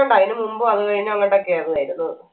ണ്ട് അയിന് മുമ്പു അങ്ങ് കഴിഞ്ഞ് അങ്ങട്ടൊക്കെ ആയിര്ന്ന് ആയിരുന്നു